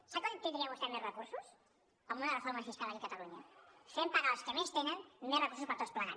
sap com tindria vostè més recursos amb una reforma fiscal aquí a catalunya fent pagar els que més tenen més recursos per tots plegats